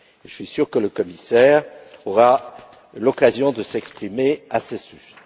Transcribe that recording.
Je suis sûr que le commissaire aura l'occasion de s'exprimer à ce sujet.